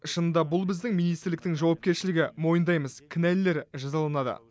шынында бұл біздің министрліктің жауапкершілігі мойындаймыз кінәлілер жазаланады